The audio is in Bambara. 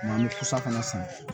N'an bɛ pusa fana san